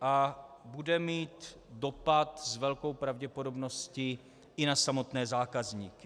a bude mít dopad s velkou pravděpodobností i na samotné zákazníky.